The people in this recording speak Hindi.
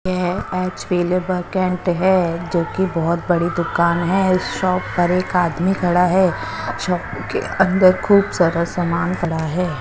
ये है जो की बहोत बड़ी दुकान है इस शॉप पर एक आदमी खड़ा है शॉप के अंदर खूब सारा सामान पड़ा है।